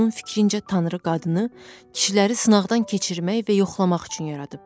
Onun fikrincə Tanrı qadını, kişiləri sınaqdan keçirmək və yoxlamaq üçün yaradıb.